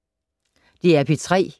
DR P3